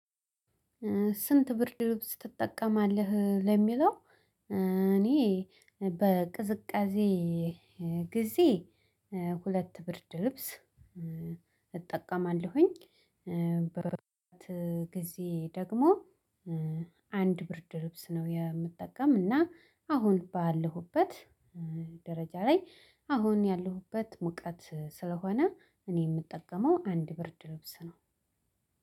ስንት? ብርድ ልብስ ትጠቀማለህ ለሚለው እ እኔ በቅዝቃዜ ጊዜ እ ሁለት ብርድ ልብስ እ እጠቀማለሁ። እ ጊዜ ደግሞ እ አንድ ብርድ ልብስ ነው የምጠቀም። እና አሁን ባለሁበት እ ደረጃ ላይ አሁን ያለሁበት ሙቀት ስለሆነ እኔ የምጠቀመው አንድ ብርድ ልብስ ነው።